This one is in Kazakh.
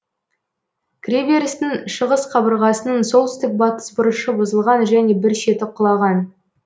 кіреберістің шығыс қабырғасының солтүстік батыс бұрышы бұзылған және бір шеті құлаған